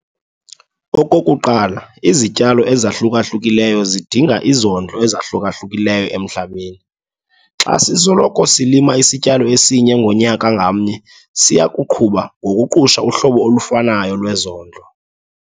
Okokuqala, izityalo ezahluka-hlukileyo zidinga izondlo ezahluka-hlukileyo emhlabeni. Xa sisoloko silima isityalo esinye ngonyaka ngamnye siya kuqhuba ngokuqusha uhlobo olufanayo lwezondlo.